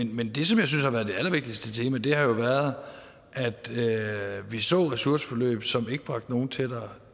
men det som jeg synes har været det allervigtigste tema har jo været at vi så ressourceforløb som ikke bragte nogen tættere